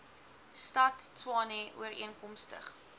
stad tshwane ooreenkomstig